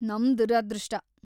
ನಮ್ ದುರದೃಷ್ಟ.